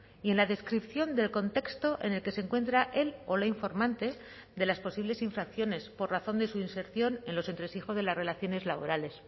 y en la descripción del contexto en el que se encuentra el o la informante de las posibles infracciones por razón de su inserción en los entresijos de las relaciones laborales